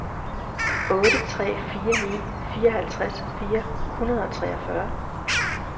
otte tre fire ni fireoghalvtreds fire hundrede og treogfyrre